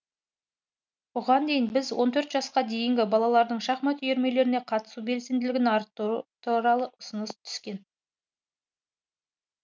бұған дейін біз он төрт жасқа дейінгі балалардың шахмат үйірмелеріне қатысу белсенділігін арттыру туралы ұсыныс түскен